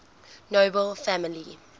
nobel family